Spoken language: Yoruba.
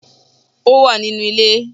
Ó wà nínú ilé